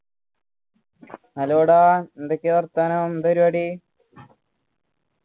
hello ഡാ എന്തൊക്കെയാ വർത്താനം എന്താ പരിപാടി